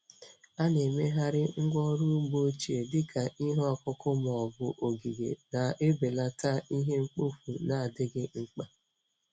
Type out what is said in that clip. A na-emegharị ngwá ọrụ ugbo ochie dị ka ihe ọkụkụ ma ọ bụ ogige, na-ebelata ihe mkpofu na-adịghị mkpa.